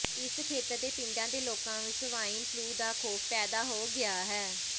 ਇਸ ਖੇਤਰ ਦੇ ਪਿੰਡਾਂ ਦੇ ਲੋਕਾਂ ਵਿੱਚ ਸਵਾਈਨ ਫਲੂ ਦਾ ਖੌਫ਼ ਪੈਦਾ ਹੋ ਗਿਆ ਹੈ